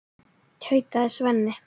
tautaði Svenni.